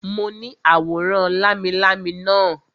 Mo ní àwòrán lámilámi naa